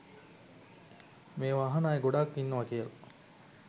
මේව අහන අය ගොඩක් ඉන්නව කියල